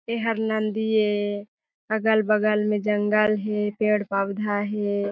ए हर नंदी ए अगल बगल में जंगल हे पेड़-पवधा हे।